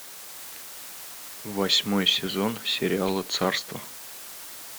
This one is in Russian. восьмой сезон сериала царство